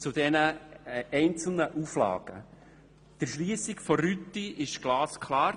Zu den einzelnen Auflagen im Detail: Die Erschliessung der Rüti ist glasklar;